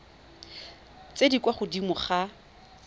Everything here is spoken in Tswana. tse di kwa godimo ga